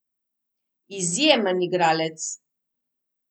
Izjemen igralec!